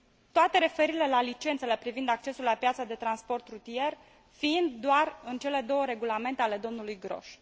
toate referirile la licențele privind accesul la piața de transport rutier fiind doar în cele două regulamente ale domnului Grosch.